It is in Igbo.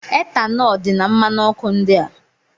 Etanọl dị na mmanụ ọkụ ndị a.